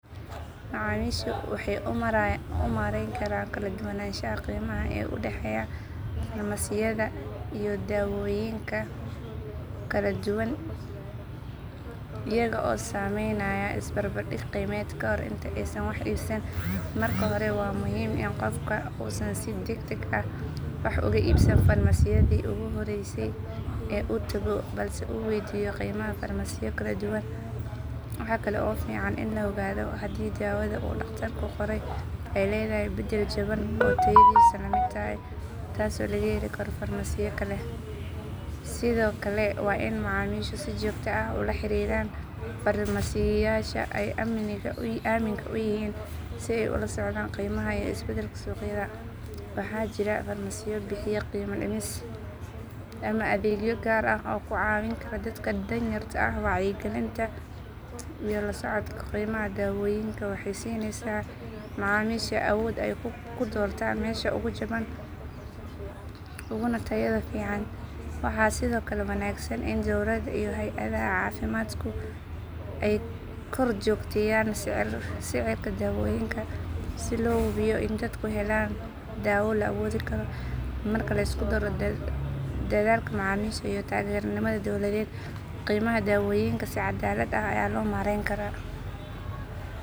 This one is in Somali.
Macaamiishu waxay u maarayn karaan kala duwanaanshaha qiimaha ee u dhexeeya farmasiyada iyo daawooyinka kala duwan iyaga oo samaynaya isbarbardhig qiimeed kahor inta aysan wax iibsan. Marka hore waa muhiim in qofku uusan si degdeg ah wax uga iibsan farmasiyadii ugu horreysay ee uu tago balse uu weydiiyo qiimaha farmasiyo kala duwan. Waxaa kale oo fiican in la ogaado haddii daawada uu dhakhtarku qoray ay leedahay beddel jaban oo tayadiisu la mid tahay taasoo laga heli karo farmasiyo kale. Sidoo kale waa in macaamiishu si joogto ah ula xiriiraan farmasiyeyaasha ay aaminka u yihiin si ay ula socdaan qiimaha iyo isbeddelka suuqyada. Waxaa jira farmasiyo bixiya qiime dhimis ama adeegyo gaar ah oo ku caawin kara dadka danyarta ah. Wacyigelinta iyo la socodka qiimaha daawooyinka waxay siinaysaa macaamiisha awood ay ku doortaan meesha ugu jaban uguna tayada fiican. Waxaa sidoo kale wanaagsan in dowladda iyo hay’adaha caafimaadku ay kor joogteeyaan sicirka daawooyinka si loo hubiyo in dadku helaan daawo la awoodi karo. Marka la isku daro dadaalka macaamiisha iyo taageerada nidaam dowladeed, qiimaha daawooyinka si cadaalad ah ayaa loo maareyn karaa.